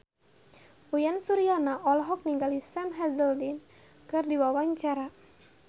Uyan Suryana olohok ningali Sam Hazeldine keur diwawancara